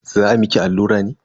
Za a miki allura ne?